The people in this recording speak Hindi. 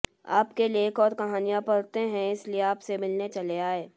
आपके लेख और कहानियां पढ़ते हैं इसीलिए आपसे मिलने चले आए